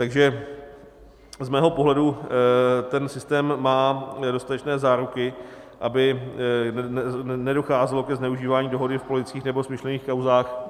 Takže z mého pohledu ten systém má dostatečné záruky, aby nedocházelo ke zneužívání dohody v politických nebo smyšlených kauzách.